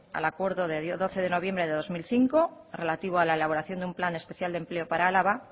al acuerdo de doce de noviembre de dos mil cinco relativo a la elaboración de un plan especial de empleo para álava